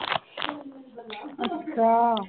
ਅੱਛਾ।